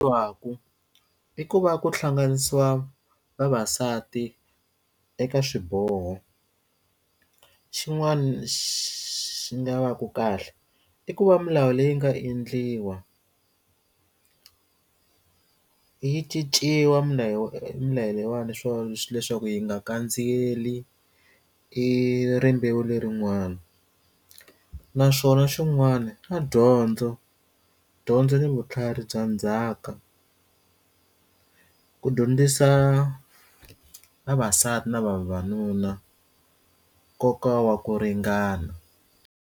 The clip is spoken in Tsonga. Wa ku i ku va ku hlanganisiwa vavasati eka swiboho xin'wana xi nga va ku kahle i ku va milawu leyi nga endliwa yi cinciwa milawu mila leyiwani swo leswaku yi nga kandziyelana i rimbewu lerin'wani naswona xin'wana a dyondza dyondzo ni vutlhari bya ndzhaka ku dyondzisa vavasati na vavanuna nkoka wa ku ringana.